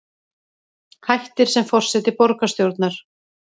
Hættir sem forseti borgarstjórnar